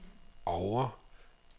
Oure